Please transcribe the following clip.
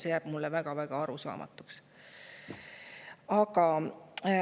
See jääb mulle väga-väga arusaamatuks.